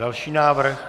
Další návrh.